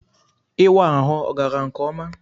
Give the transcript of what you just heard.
Ịwa ahụ ọ gara nke ọma?